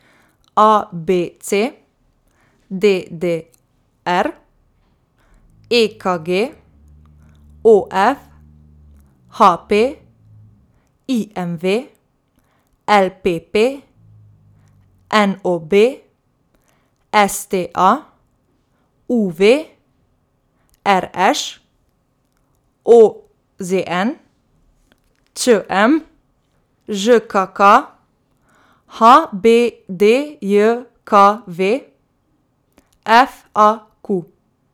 A B C; D D R; E K G; O F; H P; I M V; L P P; N O B; S T A; U V; R Š; O Z N; Č M; Ž K K; H B D J K V; F A Q.